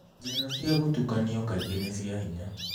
Njĩra cia gũtukanio kaingĩ nĩ cia hinya.